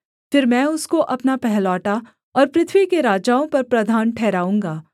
फिर मैं उसको अपना पहिलौठा और पृथ्वी के राजाओं पर प्रधान ठहराऊँगा